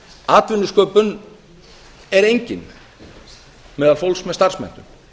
atvinnusköpun er engin meðal fólks með starfsmenntun